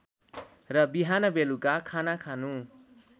र बिहानबेलुका खाना खानु